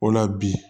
O la bi